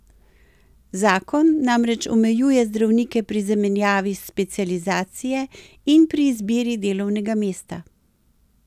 Zakon namreč omejuje zdravnike pri zamenjavi specializacije in pri izbiri delovnega mesta.